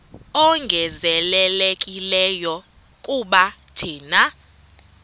ongezelelekileyo kuba thina